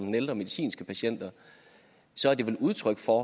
ældre medicinske patienter er det vel udtryk for